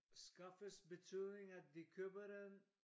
Skaffes betydning at de køber den?